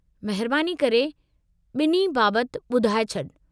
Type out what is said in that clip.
महिरबानी करे बि॒न्हीअ बाबतु ॿुधाए छॾु।